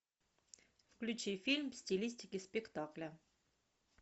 включи фильм в стилистике спектакля